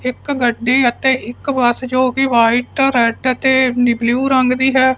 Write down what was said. ਇੱਕ ਗੱਡੀ ਅਤੇ ਇੱਕ ਬੱਸ ਜੋ ਕਿ ਵਾਈਟ ਰੈਡ ਤੇ ਬਲੂ ਰੰਗ ਦੀ ਹੈ।